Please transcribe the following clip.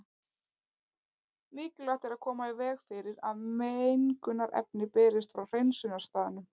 Mikilvægt er að koma í veg fyrir að mengunarefni berist frá hreinsunarstaðnum.